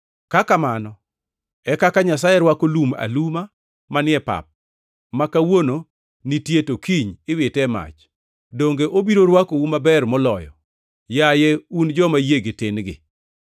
Ka kamano e kaka Nyasaye rwako lum aluma manie pap, ma kawuono nitie to kiny iwite e mach, donge obiro rwakou maber moloyo, yaye un joma yiegi tin-gi?